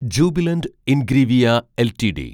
Jubilant Ingrevia LTD